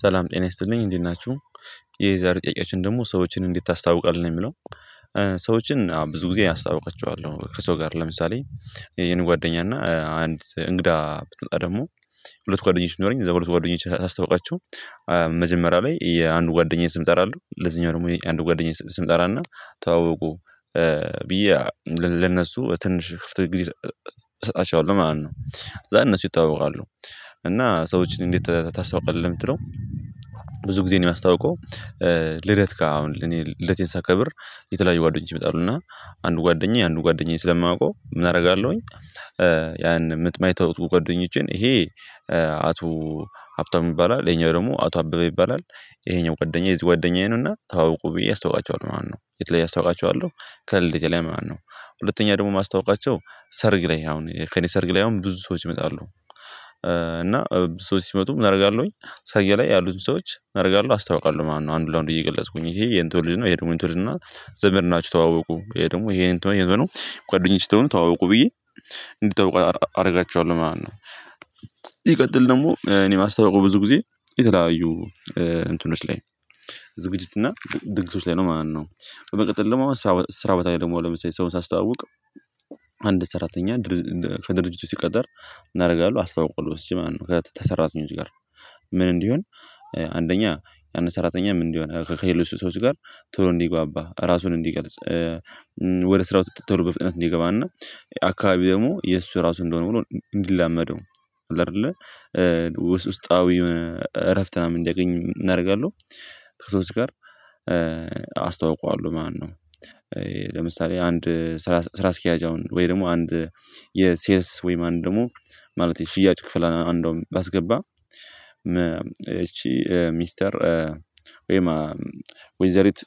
ሰላም ጤና ይስጠልኝ እንዴት ናችሁ። የዛሬ ጥያቄያችን ደግሞ ሰዎችን እንዴት ታስታውቃለህ ነው የሚለው? ሰዎችን ብዙ ጊዜ አስታውቃቸዋለሁ። ከሰው ጋር ለምሳሌ የኔ ጓደኛ እና አንድ እንግዳ ብትመጣ ደግሞ ሁለት ጓደኞች ቢኖረኝ እዛ ሁለት ጓደኞች ሳስታውቃቸው። መጀመሪያ ላይ የአንዱ ጓደኛዬ ስም እጠራለው ለዚህኛው ደግሞ የአንዱ ጓደኛዬ ስም እጠራና ተዋወቁ። ብዬ ለነሱ ትንሽ ክፍት ጊዜ እሰጣቸዋለሁ ማለት ነው። ዛን እነሱ ይታወቃሉ። እና ሰዎችን እንዴት ታስታውቃለህ የምትለው? ብዙ ጊዜ ነው የማስታውቀው። ልደት ጋር አሁን ለኔ ልደቴን ሳከብር የተለያዩ ጓደኞች ይመጣሉ እና አንዱ ጓደኛዬ አንዱ ጓደኛዬ ስለማውቀው አደርጋለሁኝ። የማይተው ጓዶኞችን ይሄ አቶ ሀብታም ይባላል ይሄኛው ደግሞ አቶ አበበ ይባላል። ይሄኛው ጓደኛዬ የዚ ጓደኛዬ ነውና ተዋወቁ ብዬ አስታውቃቸዋለሁ ማለት ነው። የት ላይ አስታውቃቸዋለሁ? ከልደቴ ላይ ማለት ነው። ሁለተኛ ደግሞ ማስታወቃቸው ሰርግ ላይ አሁን ከእኔ ሰርግ ላይ አሁን ብዙ ሰዎች ይመጣሉ። እና ሰዎች ሲመጡም ምን አደርጋለሁኝ? ሰርግ ላይ ያሉትን ሰዎች ምን አደርጋለሁ አስታውቃለሁ። ማነው አንዱ ለአንዱ እየገለጽኩኝ ይሄ የኢንቶኔ ልጅ ነው የሄድኩኝ የእንቶኔ ልጅ ነው ዘመድ ናቸው ተዋወቁ። ይሄ ደግሞ ይሄ የእንትኖ የእንትኖ ጓደኞቼ ስትሆኑ ተዋወቁ። ብዬ እንዲጠብቁ አደርጋቸዋለሁ ማለት ነው። ደግሞ እኔ ማስታወቁ ብዙ ጊዜ የተለያዩ እንትኖች ላይ ዝግጅት እና ድግሶች ላይ ነው ማለት ነው። በመቀጠል ለመሆን ስራ ስራ በታች ደግሞ ለምሳሌ ሰውን ሳስተዋውቅ አንድ ሰራተኛ ከድርጅቱ ሲቀጠር እናደርጋለን። አስታውቀዋለሁ ወስጄ ማን ነው ከተሰራተኞች ጋር ምን እንዲሆን? አንደኛ ያን ሰራተኛ ምን እንዲሆን ከሌሎች ሰዎች ጋር ቶሎ እንዲጓባ ራሱን እንዲገልጽ ስራ ውስጥ ተሎ በፍጥነት እንዲገባና። አካባቢ ደግሞ የእሱ ራሱ እንደሆነ ብሎ እንዲላመደው። አይደለ ውስጣዊ እረፍት እና እንዳያገኝ ምን አደርጋለሁ? ከሶስት ጋር አስተዋውቀዋለሁ። ማነው? ለምሳሌ አንድ ስራ ስራ አስኪያጅ አሁን ወይ ደግሞ አንድ የሴልስ ወይ ማን ደግሞ? ማለት የሽያጭ ክፍል አንደውም ባስገባ እቺ ሚስተር ወይማ ወይዘሪት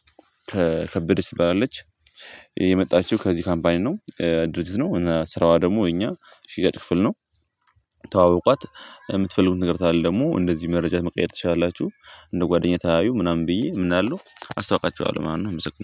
ከከበደች ትበራለች የመጣችው ከዚህ ካምፓኒ ነው ድርጅት ነው እና ስራዋ ደግሞ እኛ ሺያጭ ክፍል ነው። ተዋወቋት የምትፈልጉትን ነገር ካለ ደግሞ እንደዚህ መረጃ መቀየር ትችላላችሁ። እንደ ጓደኛ ተያዩ ምናምን ብዬ ምን እላለው? አስታውቃቸዋለሁ ምናምን አመሰግናለሁ